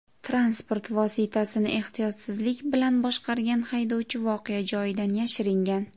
Transport vositasini ehtiyotsizlik bilan boshqargan haydovchi voqea joyidan yashiringan.